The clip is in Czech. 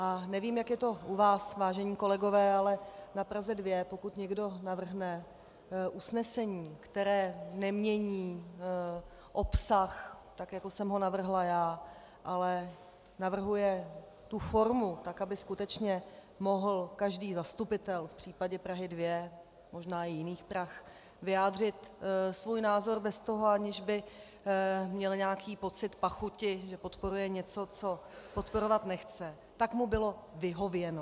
A nevím, jak je to u vás, vážení kolegové, ale na Praze 2 pokud někdo navrhne usnesení, které nemění obsah, tak jako jsem ho navrhla já, ale navrhuje tu formu, tak aby skutečně mohl každý zastupitel v případě Prahy 2, možná i jiných Prah, vyjádřit svůj názor bez toho, aniž by měl nějaký pocit pachuti, že podporuje něco, co podporovat nechce, tak mu bylo vyhověno.